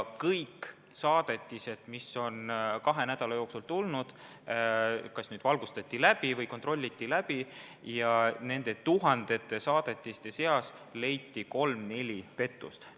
Kõik saadetised, mis olid kahe nädala jooksul tulnud, kas valgustati või kontrolliti muul viisil läbi, ja nende tuhandete saadetiste seast leiti kolm-neli pettust.